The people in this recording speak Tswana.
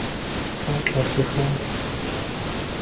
fa tlase ga serisi epe